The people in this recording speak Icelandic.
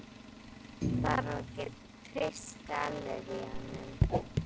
Fólk þarf að geta treyst galleríunum.